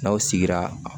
N'aw sigira